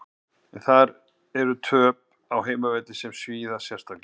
Eru þar töp á heimavelli sem svíða sérstaklega.